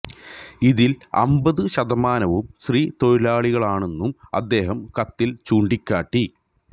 ഇതില് അമ്പത് ശതമാനവും സ്ത്രീ തൊഴിലാളികളാണെന്നും അദ്ദേഹം കത്തില് ചൂണ്ടിക്കാട്ടി